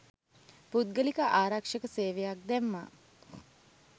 පුද්ගලික ආරක්‍ෂක සේවයක්‌ දැම්මා